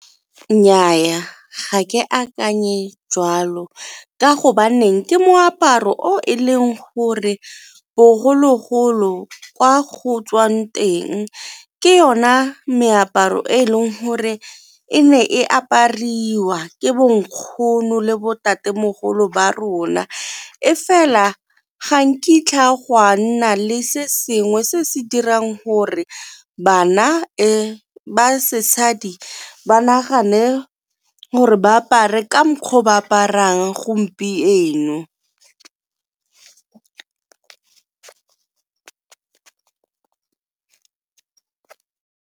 Nnyaa ga ke akanye jwalo ka go baneng ke moaparo o e leng gore bogologolo kwa go tswang teng ke yona meaparo e leng gore e ne e apariwa ke bonkgono le bo ntatemogolo ba rona, e fela ga nkitla gwa nna le se sengwe se se dirang gore bana ba sesadi ba nagane gore ba apare ka mokgwa o ba aparang gompieno.